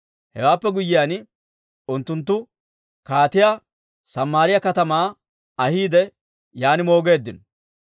Hewaappe guyyiyaan unttunttu kaatiyaa Samaariyaa katamaa ahiide yaan moogeeddino.